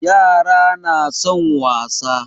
Yara na son wasa.